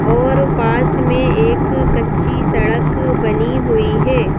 और पास में एक कच्ची सड़क बनी हुई है।